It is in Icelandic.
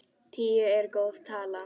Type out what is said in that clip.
Tíu er góð tala.